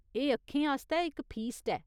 एह् अक्खें आस्तै इक फीस्ट ऐ।